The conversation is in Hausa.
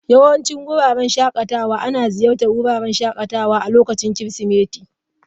Yawancin wuraren shakatawa ana ziyartar wuraren shakatawa a lokutan Kirsimeti.